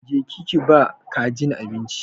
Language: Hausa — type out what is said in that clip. Je ki ki ba kajin abinci!